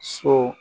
So